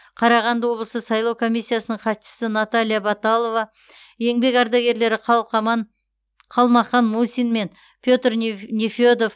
қарағанды облысы сайлау комиссиясының хатшысы наталья баталова еңбек ардагерлері қалмақан мусин мен петр нефедов